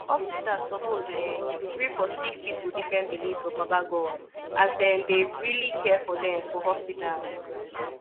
hospitas suppos erm gree for sicki pipu different beliefs for baba godey as dem dey reli care for dem for hospitas